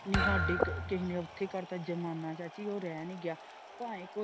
ਨੀ ਸਾਡੇ ਕਿੰਨੇ ਔਖੇ ਘਰ ਦਾ ਜ਼ਮਾਨਾ ਚਾਚੀ ਉਹ ਰਹਿ ਨਹੀਂ ਗਿਆ ਭਾਵੇ ਕੋਈ।